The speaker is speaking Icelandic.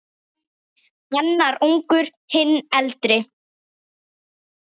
Annar ungur, hinn eldri.